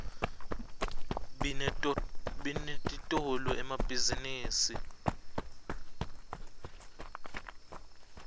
binetitolo emabihzinibini